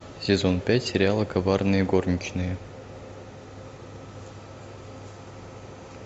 сезон пять сериала коварные горничные